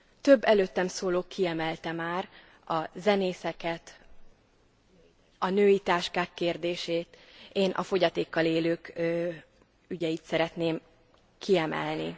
Több előttem szóló kiemelte már a zenészeket, a női táskák kérdését, én a fogyatékkal élők ügyeit szeretném kiemelni.